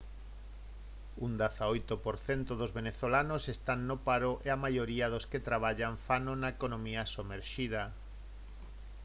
un 18 % dos venezolanos están no paro e a maioría dos que traballan fano na economía somerxida